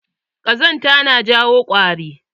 Kazanta na jawo ƙwari.